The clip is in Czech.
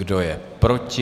Kdo je proti?